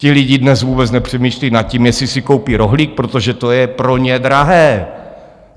Ti lidi dnes vůbec nepřemýšlejí nad tím, jestli si koupí rohlík, protože to je pro ně drahé.